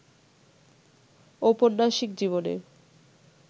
ঔপন্যাসিক জীবনের